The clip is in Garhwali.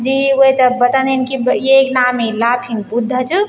जी वेते बतादिन की येक नाम ही लाफिंग बुद्धा च।